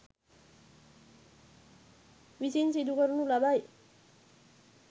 විසින් සිදු කරනු ලබයි.